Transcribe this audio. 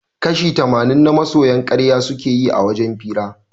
Kashi tamanin na masoya karya suke yi a wajen hira